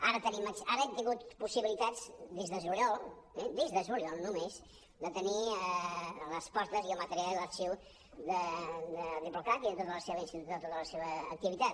ara hem tingut possibilitats des de juliol eh des de juliol només de tenir les portes i el material d’arxiu de diplo cat i de tota la seva activitat